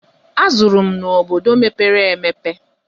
Azụrụ m n'obodo mepere emepe.